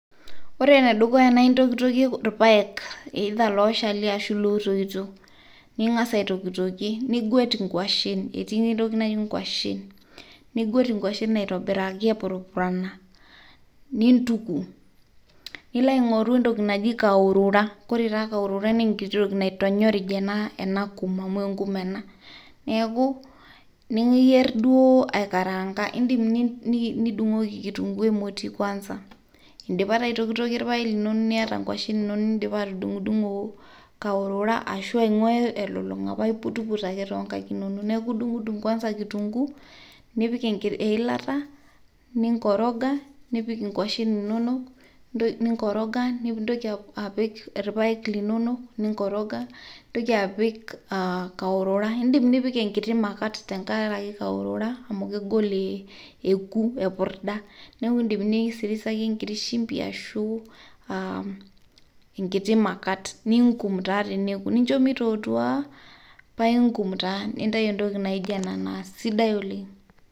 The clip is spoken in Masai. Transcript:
Ore enedukuya naa intokitokie olpayek ilooshal ashu lotoito ningas aitokitokie, niguet ingoshen etii ninye entoki najii ngoshen, niguet ingoshen aitobiraki epurpurana, niintuk nilo aingoru entoki naji kahurura, ore taa nkahurura naa entoki naitonyorij enaa nkuma amuu enkumaa ana, naaku nimiyier duoo aikarangan, iindim nidung'oki enkitunguu emoti kwansa indipa taa aitikitikie ilpaek ninono nieta ngoshen inono nindipa atudung'dung'o kahurura ashu aung'uaa elulung'a paa iputuput ake tee nkaik inono ,naaku idung'dung' kwansa nkitunguu nipik ilaata ninkoroga, nipik ngoshen inono, ninkoroga nintoki apik ipaek linono niinkoroga, nintoki apik kahurura, indim nipik enkiti makat tengaraki kahurura amu kegol ekuu eipurdaa, neaku iindim nisirisiraki enkiti shumpi ashuu inkiti makat niinkum naa teneku, nincho meitotuaa paiinkum taa nintai entoki naijo ena sidaii oleng.